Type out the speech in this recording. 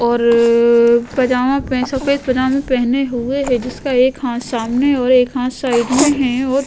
और पजामा पर सफ़ेद पजामा पहने हुए है जिसका एक हाथ सामने और एक हाथ साइड में है और --